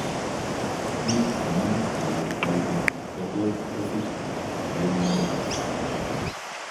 Biik chemii ele kaitit kotot kosich Raynaud's